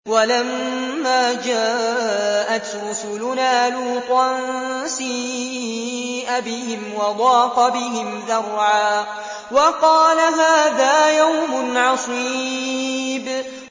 وَلَمَّا جَاءَتْ رُسُلُنَا لُوطًا سِيءَ بِهِمْ وَضَاقَ بِهِمْ ذَرْعًا وَقَالَ هَٰذَا يَوْمٌ عَصِيبٌ